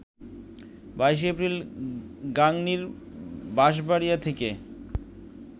২২ April গাংনীর বাঁশবাড়িয়া থেকে